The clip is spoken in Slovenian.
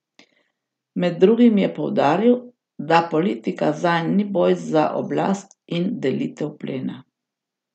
Med drugim je poudaril, da politika zanj ni boj za oblast in delitev plena.